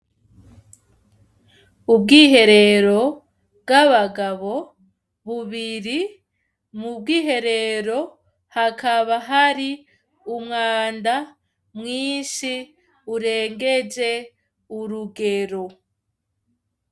Ubwiherero bw'abagabo bubiri, mu bwiherero hakaba hari umwanda mwinshi urengeje urugero.